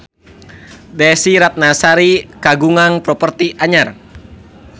Desy Ratnasari kagungan properti anyar